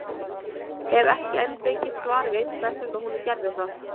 Hef ekki enn fengið svar við hvers vegna hún gerði það.